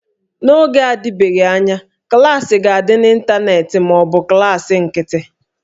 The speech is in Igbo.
N'oge na-adịbeghị anya, klaasị ga-adị n'ịntanetị ma ọ bụ klaasị nkịtị